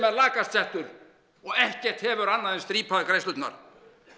lakast settur og ekkert hefur annað en strípaðar greiðslurnar